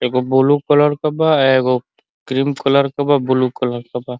एगो blue colour के बा। एगो क्रीम कलर के बा। ब्लू कलर के बा।